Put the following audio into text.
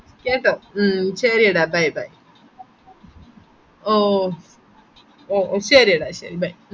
കേട്ടോ ഉം ഷെരീടാ bey bey ഓ ഒ ഒ ഷെരിഡാ bey